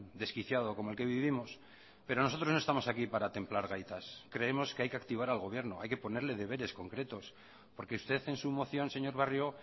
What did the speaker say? desquiciado como el que vivimos pero nosotros no estamos aquí para templar gaitas creemos que hay que activar al gobierno hay que ponerle deberes concretos porque usted en su moción señor barrio